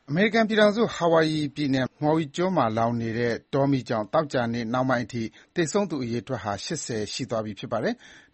အမေရိကန်ပြည်ထောင်စု၊ Hawaii ပြည်နယ်က Maui ကျွန်းမှာလောင်နေတဲ့ တောမီးကြောင့် သောကြာနေ့နှောင်းပိုင်းအထိ သေဆုံးသူအရေအတွက်ဟာ ၈၀ ဦး ရှိသွားပြီ ဖြစ်ပါတယ်။